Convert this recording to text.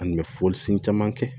Ani mɛ foli sin caman kɛ